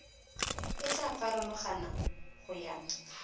e tla farologana go ya